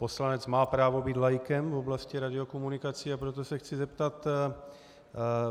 Poslanec má právo být laikem v oblasti radiokomunikací, a proto se chci zeptat.